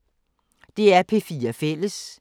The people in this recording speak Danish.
DR P4 Fælles